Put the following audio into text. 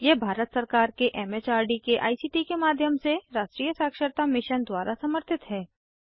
यह भारत सरकार के एमएचआरडी के आईसीटी के माध्यम से राष्ट्रीय साक्षरता मिशन द्वारा समर्थित है